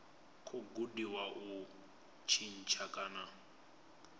khou gudiwa u tshintsha kana